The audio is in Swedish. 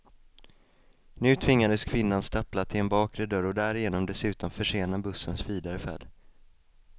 Nu tvingades kvinnan stappla till en bakre dörr och därigenom dessutom försena bussens vidare färd.